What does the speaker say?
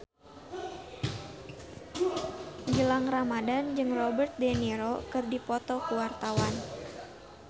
Gilang Ramadan jeung Robert de Niro keur dipoto ku wartawan